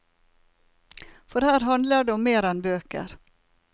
For her handler det om mer enn bøker.